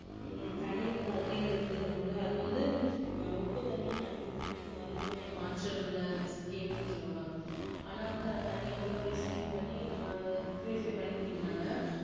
உம் தண்ணி வந்து அதுலே இருந்து எடுத்துக்குறாங்க அது வந்து உப்பு தண்ணி நல்ல தண்ணிய மாற்ற உள்ள scheme னுசொல்லுவாங்க ஆனாவந்து தண்ணி வந்து scheme பண்ணி நம்ம அஹ் puprify பண்ணி குடிக்குறாங்க